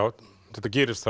þetta gerist